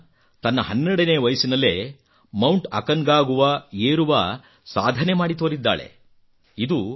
ಕಾಮ್ಯಾ ತನ್ನ ಹನ್ನೆರಡನೇ ವಯಸ್ಸಿನಲ್ಲೇ ಮೌಂಟ್ ಅಕಾನ್ಕಾಗುವಾ ಮೌಂಟ್ ಅಕಾನ್ಕಾಗುವಾ ಏರುವ ಸಾಧನೆ ಮಾಡಿ ತೊರಿದ್ದಾಳೆ